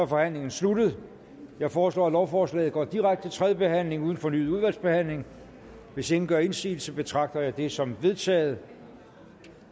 forhandlingen sluttet jeg foreslår at lovforslaget går direkte til tredje behandling uden fornyet udvalgsbehandling hvis ingen gør indsigelse betragter jeg dette som vedtaget